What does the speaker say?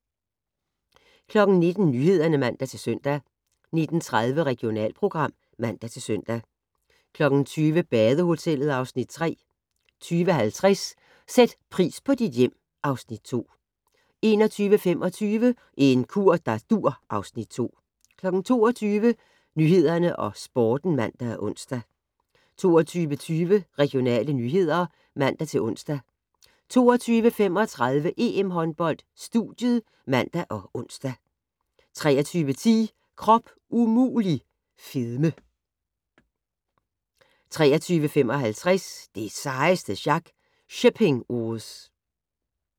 19:00: Nyhederne (man-søn) 19:30: Regionalprogram (man-søn) 20:00: Badehotellet (Afs. 3) 20:50: Sæt pris på dit hjem (Afs. 2) 21:25: En kur der dur (Afs. 2) 22:00: Nyhederne og Sporten (man og ons) 22:20: Regionale nyheder (man-ons) 22:35: EM-håndbold: Studiet (man og ons) 23:10: Krop umulig - fedme 23:55: Det sejeste sjak - Shipping Wars